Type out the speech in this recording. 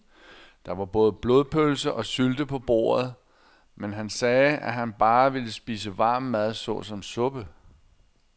Der var både blodpølse og sylte på bordet, men han sagde, at han bare ville spise varm mad såsom suppe.